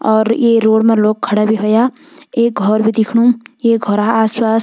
और ये रोड मा लोग खड़ा भी होया एक घोर भी दिखणु ये घौरा आस पास --